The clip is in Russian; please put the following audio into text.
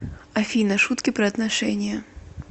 афина шутки про отношения